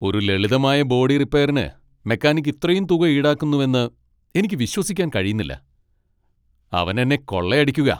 ഒരു ലളിതമായ ബോഡി റിപ്പെയറിന് മെക്കാനിക്ക് ഇത്രയും തുക ഈടാക്കുന്നുവെന്ന് എനിക്ക് വിശ്വസിക്കാൻ കഴിയുന്നില്ല! അവൻ എന്നേ കൊള്ളയടിക്കുകാ.